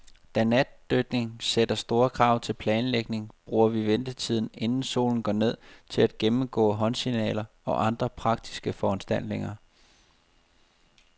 Da natdykning sætter store krav til planlægning, bruger vi ventetiden, inden solen går ned, til at gennemgå håndsignaler og andre praktiske foranstaltninger.